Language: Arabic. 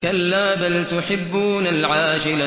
كَلَّا بَلْ تُحِبُّونَ الْعَاجِلَةَ